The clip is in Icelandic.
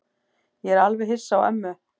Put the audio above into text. Ég er alveg hissa á ömmu.